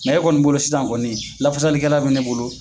e kɔni bolo sisan kɔni lafasali kɛla bɛ ne bolo.